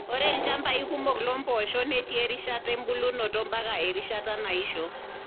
Ore ilchambai kumok loo mpoosho netii erishata ebulunoto ompaka erishata naisho.